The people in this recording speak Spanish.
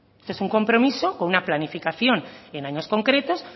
esto es un compromiso con una planificación en años concretos